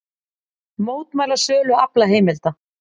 Mótmæla sölu aflaheimilda